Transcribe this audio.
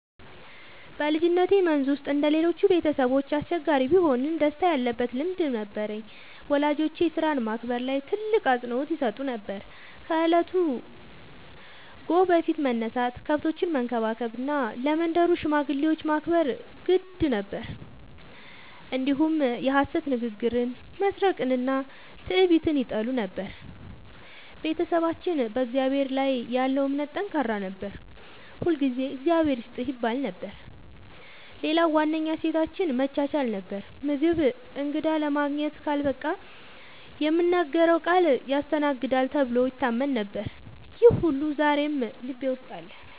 በልጅነቴ መንዝ ውስጥ እንደ ሌሎቹ ቤተሰቦች አስቸጋሪ ቢሆንም ደስታ ያለበት ልምድ ነበረኝ። ወላጆቼ ሥራን ማክበር ላይ ትልቅ አፅንዖት ይሰጡ ነበር፤ ከእለቱ ጎህ በፊት መነሳት፣ ከብቶችን መንከባከብ እና ለመንደሩ ሽማግሌዎች ማክበር የግድ ነበር። እንዲሁም የሐሰት ንግግርን፣ መስረቅንና ትዕቢትን ይጠሉ ነበር። ቤተሰባችን በእግዚአብሔር ላይ ያለው እምነት ጠንካራ ነበር፤ ሁልጊዜ “እግዚአብሔር ይስጥህ” ይባል ነበር። ሌላው ዋነኛ እሴታችን መቻቻል ነበር፤ ምግብ እንግዳ ለማግኘት ካልበቃ የምናገረው ቃል ያስተናግዳል ተብሎ ይታመን ነበር። ይህ ሁሉ ዛሬም ልቤ ውስጥ አለ።